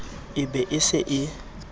e be e se e